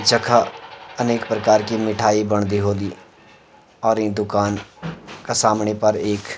जखा अनेक प्रकार की मिठाई बंडदी होदी और इं दूकान का सामणि पर एक --